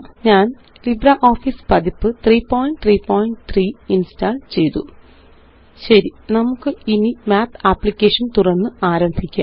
ഞാന്LibreOffice പതിപ്പ് 333 ഇന്സ്റ്റാള് ചെയ്തു ശരി നമുക്കിനിMath അപ്ലിക്കേഷൻ തുറന്ന് ആരംഭിക്കാം